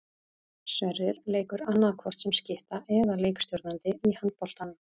Sverrir leikur annaðhvort sem skytta eða leikstjórnandi í handboltanum.